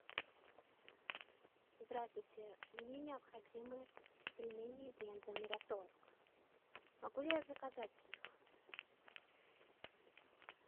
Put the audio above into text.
здравствуйте мне необходимы пельмени бренда мираторг могу ли я заказать их